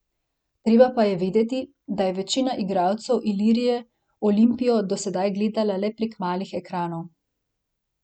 Treba pa je vedeti, da je večina igralcev Ilirije Olimpijo do sedaj gledala le prek malih ekranov.